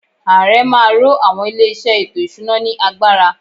Ààrẹ má a ro àwọn ilé-iṣẹ́ ètò-ìṣúná ” ní agbára.